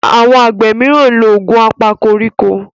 Àwọn àgbẹ míràn nlọ Òògùn apakoríko